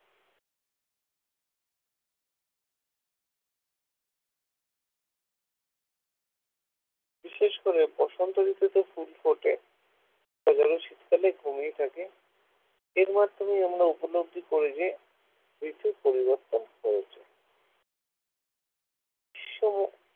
বিশেষ করে বসন্ত ঋতুতে ফুল ফোটে যেমন শীতকালে ঘুমিয়ে থাকে এর মাধ্যমে আমরা উপলব্ধি করি যে ঋতু পরিবর্তন হয়েছে গ্রীষ্ম